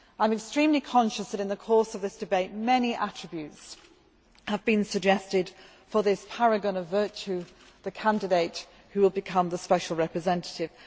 I am extremely conscious that, in the course of this debate, many attributes have been suggested for this paragon of virtue the candidate who will become the Special Representative.